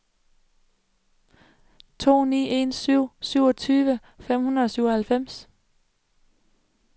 to ni en syv syvogtyve fem hundrede og syvoghalvfems